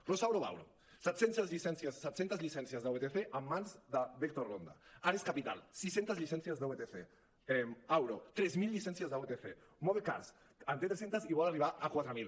rosauro varo set centes llicències de vtc en mans de vector ronda ares capital sis centes llicències de vtc auro tres mil llicències de vtc moove cars en té tres centes i vol arribar a quatre mil